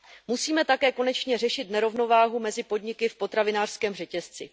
Musíme také konečně řešit nerovnováhu mezi podniky v potravinářském řetězci.